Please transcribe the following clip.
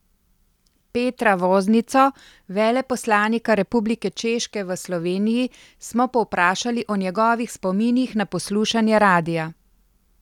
Petra Voznico, veleposlanika Republike Češke v Sloveniji, smo povprašali o njegovih spominih na poslušanje radia.